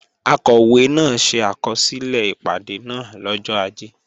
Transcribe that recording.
Akọ̀wé náà ṣe àkọsílẹ̀ ìpàdé náà lọ́jọ́ Ajé